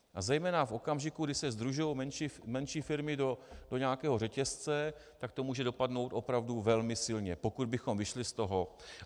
A zejména v okamžiku, kdy se sdružují menší firmy do nějakého řetězce, tak to může dopadnout opravdu velmi silně, pokud bychom vyšli z toho.